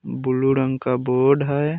Blue रंग का board है।